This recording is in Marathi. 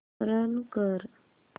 रन कर